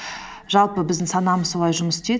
жалпы біздің санамыз солай жұмыс істейді